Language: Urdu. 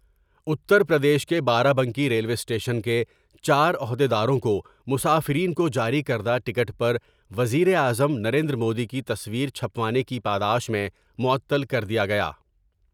اتر پردیش کے بارہ بنکی ریلوے اسٹیشن کے چارعہد یداروں کو مسافرین کو جاری کر دہ ٹکٹ پر وزیر اعظم نریندرمودی کی تصویر چھپوانے کی پاداش میں معطل کردیا گیا ۔